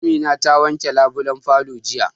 Amina ta wanke labulen falon jiya